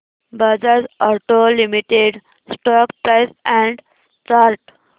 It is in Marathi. Bajaj auto limited stock price and chart